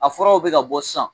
A furaw bɛ ka bɔ san.